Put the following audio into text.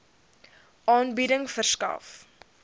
aanbieding verskaf